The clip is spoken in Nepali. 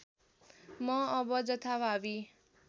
म अब जथाभावी